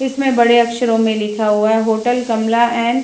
इसमें बड़े अक्षरों में लिखा हुआ है होटल कमला एण्ड --